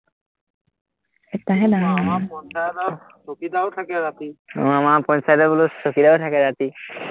একটাহে ডাঙৰ মানুহ আহ আমাৰ পঞ্চায়তত বোলো চকীদাৰো থাকে ৰাতি